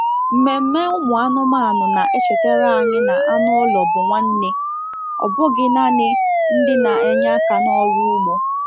Mmemme ụmụ anụmanụ na-echetara anyị na anụ ụlọ bụ nwanne, ọ bụghị naanị ndị na-enye aka n'ọrụ ugbo